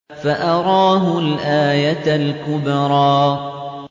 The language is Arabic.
فَأَرَاهُ الْآيَةَ الْكُبْرَىٰ